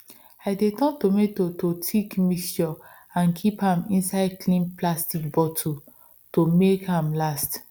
i dey turn tomato to thick mixture and keep am inside clean plastic bottle to make am last